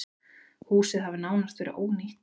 Húsið hafi nánast verið ónýtt.